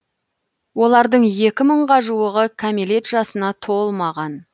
олардың екі мыңға жуығы кәмелет жасына толмаған